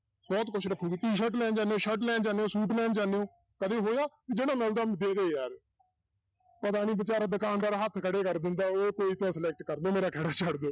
ਬਹੁਤ ਕੁਛ ਰੱਖੇਗੀ t-shirt ਲੈਣ ਜਾਂਦੇ ਹੋ, shirt ਲੈਣ ਜਾਂਦੇ ਹੋ, ਸੂਟ ਲੈਣ ਜਾਂਦੇ ਹੋ, ਕਦੇ ਹੋਇਆ ਵੀ ਜਿਹੜਾ ਮਿਲਦਾ ਦੇ ਦੇ ਯਾਰ ਪਤਾ ਨੀ ਬੇਚਾਰਾ ਦੁਕਾਨਦਾਰ ਹੱਥ ਖੜੇ ਕਰ ਕੋਈ ਤਾਂ select ਕਰ ਲਓ ਮੇਰਾ ਖਹਿੜਾ ਛੱਡ ਦਿਓ